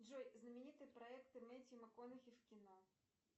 джой знаменитые проекты мэттью макконахи в кино